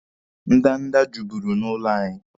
Ndanda juburu n'ụlọ anyị.